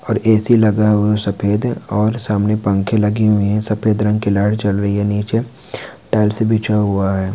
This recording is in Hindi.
और और ऐ.सी. लगा हुआ सफेद और सामने पंखे लगे हुए हैं। सफेद रंग की लाइट जल रही है। नीचे टाइल्स बिछा हुआ है।